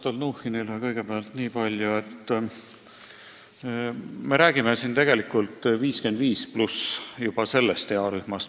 Härra Stalnuhhinile kõigepealt nii palju, et me räägime siin tegelikult earühmast 55+.